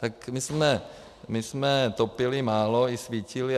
Tak my jsme topili málo i svítili.